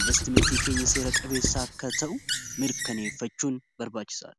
investimentii keenya seera qabeessa akka ta'u mirkaneeffachuun barbaachisaadha